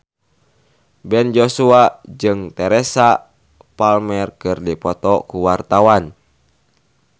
Ben Joshua jeung Teresa Palmer keur dipoto ku wartawan